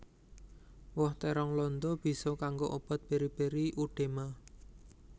Woh térong landa bisa kanggo obat beri beri udema